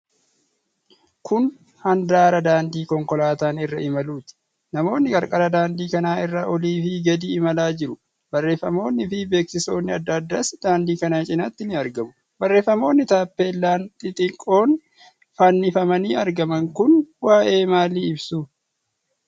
Kun handaara daandii konkolaataan irra imaluuti. Namoonni qarqara daandii kana irra olii fi gadi imalaa jiru. Bareeffamonni fi beeksisoonni adda addaas daandii kana cinaatti ni argamu. Barreeffamoonni taappellaa xixiqqoon fannifamanii argaman kun waa'ee maalii ibsu?